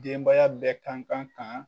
Denbaya bɛɛ kan kan kaan